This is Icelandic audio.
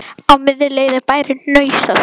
Á miðri leið er bærinn Hnausar.